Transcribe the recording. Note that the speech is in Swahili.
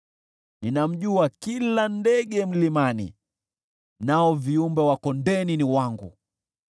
Ninamjua kila ndege mlimani, nao viumbe wa kondeni ni wangu.